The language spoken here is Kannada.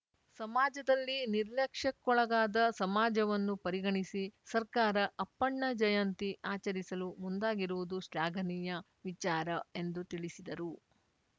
ಸಮಾಜದಲ್ಲಿ ನಿರ್ಲಕ್ಷ್ಯಕ್ಕೊಳಗಾದ ಸಮಾಜವನ್ನು ಪರಿಗಣಿಸಿ ಸರ್ಕಾರ ಅಪ್ಪಣ್ಣ ಜಯಂತಿ ಆಚರಿಸಲು ಮುಂದಾಗಿರುವುದು ಶ್ಲಾಘನೀಯ ವಿಚಾರ ಎಂದು ತಿಳಿಸಿದರು